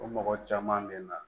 O mɔgɔ caman bɛ na